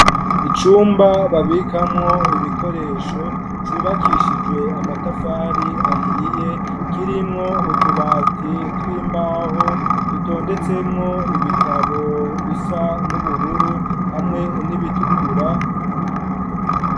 Icumba babikamwo ibikoresho cubakishijwe amatafari ahiye kirimwo utubati tw'imbaho dutondetsemwo ibitabo bisa n'ubururu hamwe n'ibitukura.